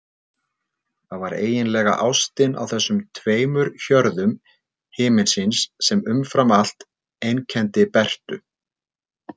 Það var eiginlega ástin á þessum tveimur hjörðum himinsins sem umfram allt einkenndi Bertu.